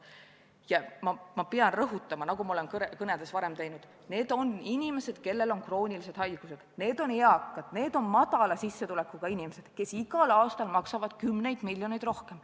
Ja ma pean rõhutama, nagu ma olen oma kõnedes varemgi teinud: need on inimesed, kellel on kroonilised haigused, need on eakad, need on väikese sissetulekuga inimesed, kes igal aastal maksavad kümneid miljoneid rohkem.